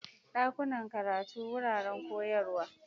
Dakunan karatu: Wuraren koyarwa.